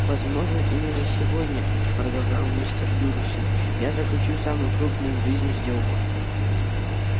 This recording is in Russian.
возможно именно сегодня продолжал мистер дурсль я заключу самую крупную в жизни сделку